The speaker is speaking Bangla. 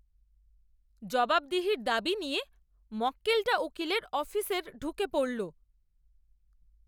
জবাবদিহির দাবি নিয়ে মক্কেলটা উকিলের অফিসের ঢুকে পড়ল!